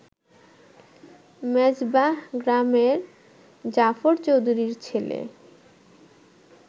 মেজবাহ গ্রামের জাফর চৌধুরীর ছেলে